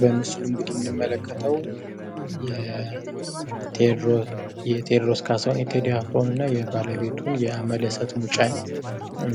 በምስሉ እንግዲ የምንመለተው የቴዎድሮስ ካሳሁን ቴዲ አፍሮ እና የ ባለቤቱን የአምለሰት ሙጬን